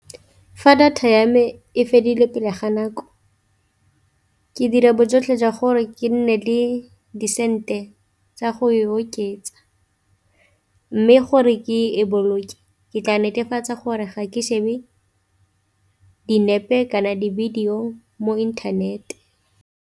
Fa data ya me e fedile pele ga nako ke dira bojotlhe jwa gore ke nne le disente tsa go e oketsa, mme gore ke e boloke ke tla netefatsa gore ga ke shebe dinepe kana di-video mo internet.